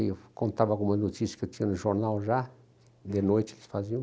Eu contava alguma notícia que eu tinha no jornal já, de noite eles faziam.